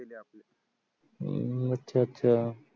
हम्म अच्छा अच्छा